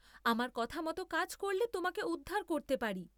আমার কথামত কাজ করলে তোমাকে উদ্ধার করতে পারি।